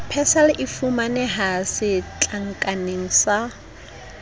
persal e fumaneha setlankaneng sa